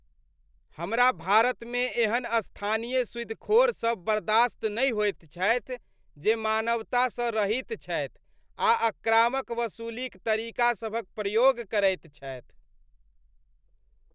हमरा भारतमे एहन स्थानीय सूदिखोर सब बर्दाश्त नहि होइत छथि जे मानवतासँ रहित छथि आ आक्रामक वसूलीक तरीका सभक प्रयोग करैत छथि।